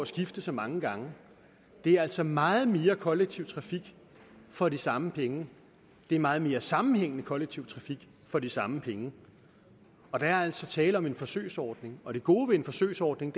skifte så mange gange det er altså meget mere kollektiv trafik for de samme penge det er meget mere sammenhængende kollektiv trafik for de samme penge der er altså tale om en forsøgsordning og det gode ved en forsøgsordning